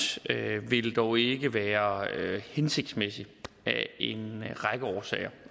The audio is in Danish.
vil dog ikke være hensigtsmæssig af en række årsager